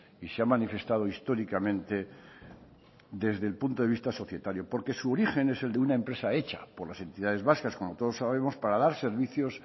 y se ha manifestado históricamente desde el punto de vista societario porque su origen es el de una empresa hecha por las entidades vascas como todos sabemos para dar servicios